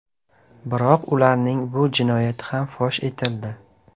Biroq ularning bu jinoyati ham fosh etildi.